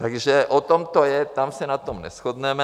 Takže o tom to je, tam se na tom neshodneme.